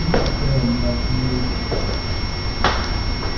стыд и срам нашему роду